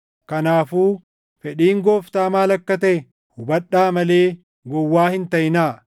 Kanaafuu fedhiin Gooftaa maal akka taʼe hubadhaa malee gowwaa hin taʼinaa.